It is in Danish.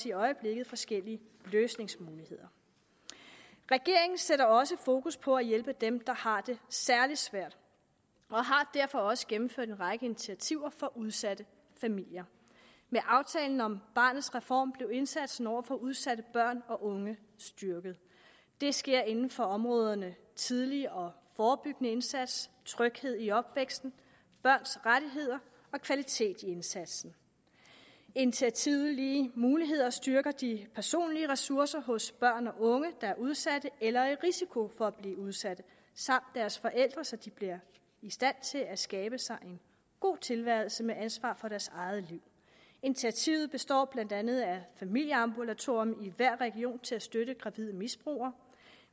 i øjeblikket forskellige løsningsmuligheder regeringen sætter også fokus på at hjælpe dem der har det særlig svært og har derfor også gennemført en række initiativer for udsatte familier med aftalen om barnets reform blev indsatsen over for udsatte børn og unge styrket det sker inden for områderne tidlig og forebyggende indsats tryghed i opvæksten børns rettigheder og kvalitet i indsatsen initiativet om lige muligheder styrker de personlige ressourcer hos børn og unge der er udsatte eller i risiko for at blive udsatte samt deres forældre så de bliver i stand til at skabe sig en god tilværelse med ansvar for deres eget liv initiativet består blandt andet af et familieambulatorium i hver region til at støtte gravide misbrugere